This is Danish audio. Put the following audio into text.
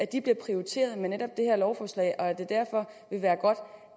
de bliver prioriteret med netop det her lovforslag og at det derfor vil være godt